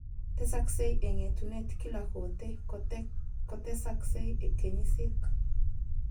Tesaksei eng etuneet kila kotee kotesaksei kenyisiek.